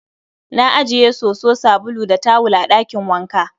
Ana ajiye soso, sabulu, da tawul a ɗakin wanka